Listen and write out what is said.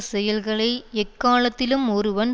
செயல்களை எக்காலத்திலும் ஒருவன்